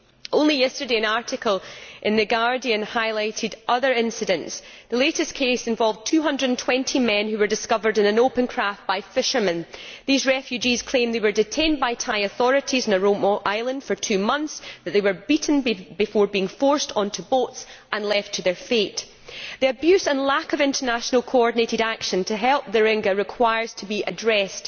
Only yesterday, an article in The Guardian highlighted other incidents. The latest case involved 220 men, who were discovered in an open craft by fishermen. These refugees claimed they were detained by Thai authorities on a remote island for two months, and that they were beaten before being forced onto boats and left to their fate. The abuse and lack of international coordinated action to help the Rohingya must be addressed.